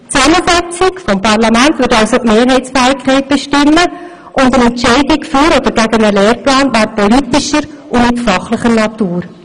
Die Zusammensetzung des Parlaments würde also die Mehrheitsfähigkeit bestimmen, und eine Entscheidung für oder gegen einen Lehrplan wäre dadurch politischer und nicht fachlicher Natur.